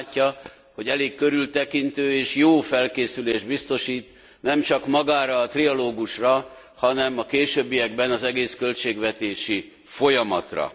Úgy látja, hogy elég körültekintő, és jó felkészülést biztosít nemcsak magára a trialógusra, hanem a későbbiekben az egész költségvetési folyamatra.